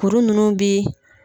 Kuru nunnuw bi